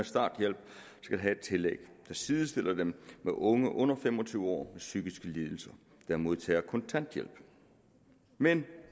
starthjælp skal have et tillæg der sidestiller dem med unge under fem og tyve år med psykiske lidelser der modtager kontanthjælp men